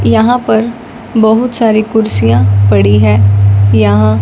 यहां पर बहुत सारी कुर्सियां पड़ी है यहां--